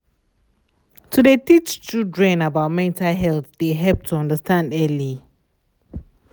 to de teach children about mental health de help to understand early.